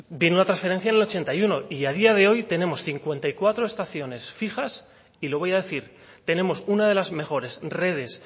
vino la transferencia en el ochenta y uno y a día de hoy tenemos cincuenta y cuatro estaciones fijas y le voy a decir tenemos una de las mejores redes